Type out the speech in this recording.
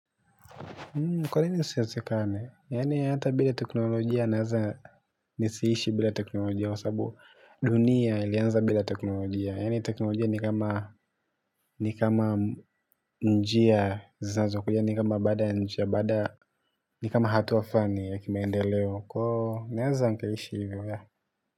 Kwa nini isiwezekane, yaani hata bila teknolojia naeza nisiishi bila teknolojia kwa sabu dunia ilianza bila teknolojia. Na yani teknolojia ni kama njia zinazokuja yaani baada ya, ni hatua fulani ya maendeleo. Kwa hiyo naeza nkaishi hivyo ya.